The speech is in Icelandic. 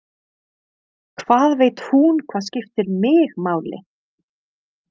Hvað veit hún hvað skiptir mig máli?